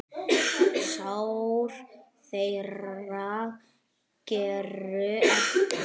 Sár þeirra greru ekki.